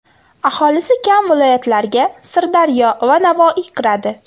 Aholisi kam viloyatlarga Sirdaryo va Navoiy kiradi.